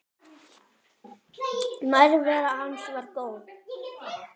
Nærvera hans var góð.